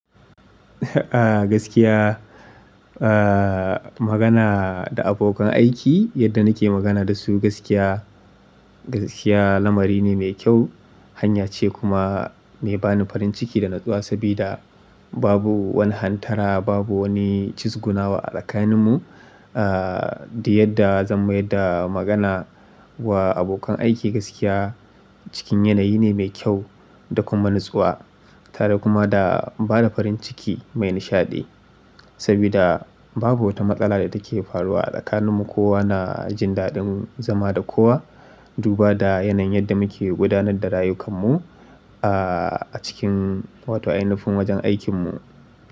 Magana da abokan aiki yadda nike magana dasu gaskiya, gaskiya lamari ne mai kyau, hanya ce kuma mai bani farin ciki da natsuwa sabida babu wani hantara babu wani cizguna wa a tsakanin mu. Da yadda zan mayar da magana wa abokan aiki gaskiya cikin yanayi ne mai kyau da kuma natsuwa tare kuma da bada farin ciki mai nishaɗi. Sabida babu wata matsala da take faruwa a tsakanin mu ko wana jindaɗin zama da kowa. Duba da yanayin yadda muke gudanar da rayukan mu a cikin wato ai nufin wajen aikin mu.